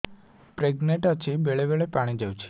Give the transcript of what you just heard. pregnant ଅଛି ବେଳେ ବେଳେ ପାଣି ଯାଉଛି